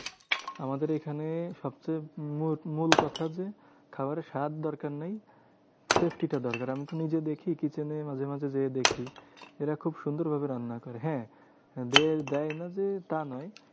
আমাদের এখানে সবথেকে মূল মূল কথা যে, খাবারে স্বাদ দরকার নেই safety টা দরকার। আমি তো নিজেও দেখি kitchen এ মাঝে মাঝে যেয়ে দেখি। এরা খুব সুন্দর ভাবে রান্না করে হ্যাঁ যে দেয় না যে তা নয়